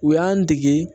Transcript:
U y'an dege